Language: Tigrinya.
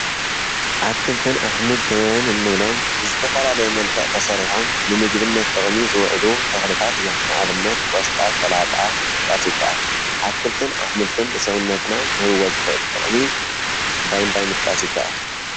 ኣትክልትን ኣሕምልትን እንብሎም ብዝተፈላለየ መልዕ ተሠሪሖም ንምግብነት ጥቕሚ ዝውዕሉ ተኽልታት እዮም፡፡ ኣብነት ቆስጣ ፣ሰላጣ ምጥቃስ ይካኣል፡፡ ኣትክልትን ኣሕምልትን ብሰዉነትና ክህብዎ ዝኽእል ጥቕሚ እንታይ እንታይ ምጥቃስ ይካኣል?